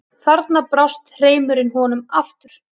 Þarna brást hreimurinn honum aftur.